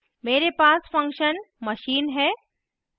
मेरे पास function machine है